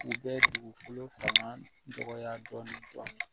U bɛ dugukolo fanga dɔgɔya dɔɔni